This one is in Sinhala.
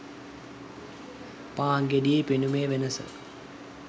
පාන් ගෙඩියේ පෙනුමේ වෙනස